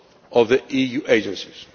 those of the EU agencies.